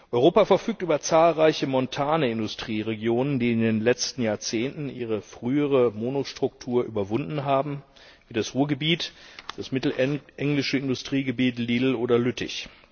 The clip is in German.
Europa verfügt über zahlreiche montane Industrieregionen, die in den letzten Jahrzehnten ihre frühere Monostruktur überwunden haben, wie das Ruhrgebiet, das mittelenglische Industriegebiet, Lille oder Lüttich.